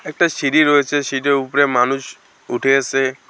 একটা সিঁড়ি রয়েছে সিঁড়ির উপরে মানুষ উঠে আছে।